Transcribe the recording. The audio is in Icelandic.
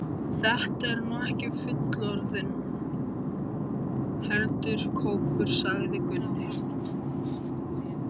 Þetta er nú ekki fullorðinn selur, heldur kópur, sagði Gunni.